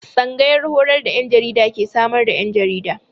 Tsangayar horar da 'yan jarida ke samar da 'yan jarida.